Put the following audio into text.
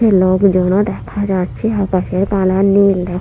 হে লোকজনও দেখা যাচ্ছে আকাশের কালার নীল দেখ--